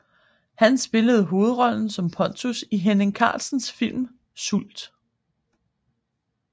Han spillede hovedrollen som Pontus i Henning Carlsens film Sult